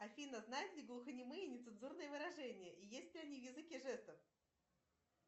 афина знают ли глухонемые нецензурные выражения и есть ли они в языке жестов